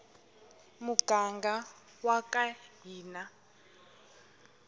muganga waka hina